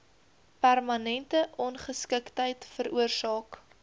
permanente ongeskiktheid veroorsaak